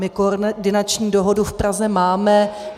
My koordinační dohodu v Praze máme.